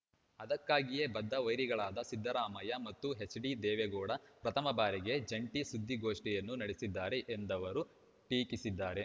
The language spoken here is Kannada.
ಅದಕ್ಕಾಗಿಯೇ ಬದ್ಧ ವೈರಿಗಳಾದ ಸಿದ್ದರಾಮಯ್ಯ ಮತ್ತು ಎಚ್‌ಡಿದೇವೆಗೌಡ ಪ್ರಥಮ ಬಾರಿಗೆ ಜಂಟಿ ಸುದ್ದಿಗೋಷ್ಠಿಯನ್ನೂ ನಡೆಸಿದ್ದಾರೆ ಎಂದವರು ಟೀಕಿಸಿದ್ದಾರೆ